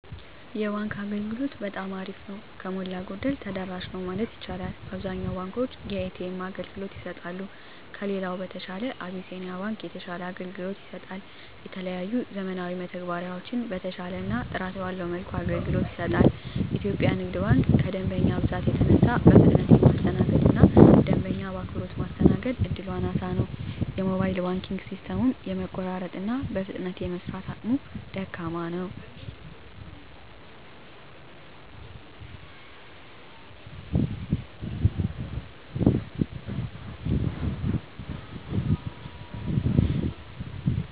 የባንክ አገልግሎት በጠማ አሪፍ ነው። ከሞላ ጎደል ተደራሽ ነው ማለት ይቻላል። አብዛኛውን ባንኮች የኤ.ተ.ኤም አገልግሎት ይሰጣሉ። ከሌላው በተሻለ አብሲኒያ ባንክ የተሻለ አገልግሎት ይሰጣል። የተለያዩ ዘመናዊ መተግበሪያዎችን በተሻለና ጥራት ባለው መልኩ አገልግሎት ይሰጣል። ኢትዮጵያ ንግድ ባንክ ከደንበኛ መብዛት የተነሳ በፍጥነት የማስተናገድ እና ደንበኛ በአክብሮት ማስተናገድ እድሉ አናሳ ነው። የሞባይል ባንኪንግ ሲስተሙም የመቆራረጥ እና በፍጥነት የመስራት አቅሙ ደካማ ነው።